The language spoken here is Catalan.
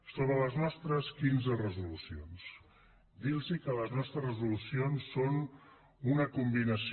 sobre les nostres quinze resolucions dir los que los nostres resolucions són una combinació